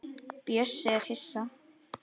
Bjössi er hissa.